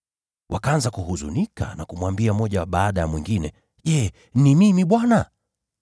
Wakaanza kuhuzunika na kumuuliza mmoja baada ya mwingine, “Je, ni mimi Bwana?”